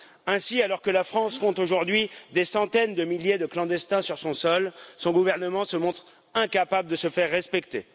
Ainsi, alors que la France compte des centaines de milliers de clandestins sur son sol, son gouvernement se montre incapable de se faire respecter.